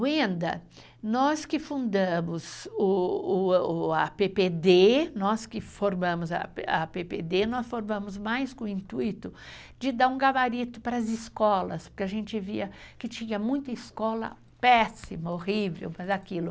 Wenda, nós que fundamos a PPD, nós que formamos a PPD, nós formamos mais com o intuito de dar um gabarito para as escolas, porque a gente via que tinha muita escola péssima, horrível, mas aquilo...